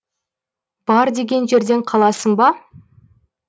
бар деген жерден қаласың ба